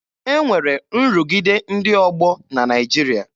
E nwere nrụgide ndị ọgbọ na Naịjirịa.